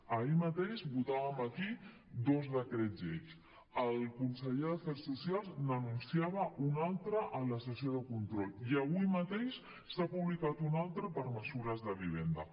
ahir mateix votàvem aquí dos decrets llei el conseller d’afers socials n’anunciava un altre en la sessió de control i avui mateix se n’ha publicat un altre per mesures de vivenda